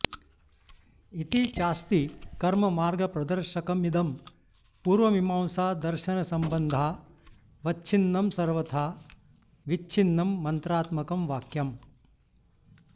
इति चास्ति कर्ममार्गप्रदर्शकमिदं पूर्वमीमांसादर्शनसम्बन्धावच्छिन्नं सर्वथा ऽविच्छिन्नं मन्त्रात्मकं वाक्यम्